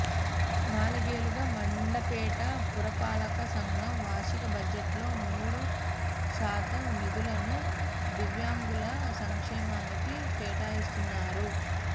నాలుగేళ్లుగా మండపేట పురపాలక సంఘం వార్షిక బడ్జెట్లో మూడు శాతం నిధులను దివ్యాంగుల సంక్షేమానికి కేటాయిస్తున్నారు